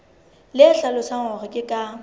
le hlalosang hore ke ka